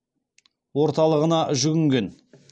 орталығына жүгінген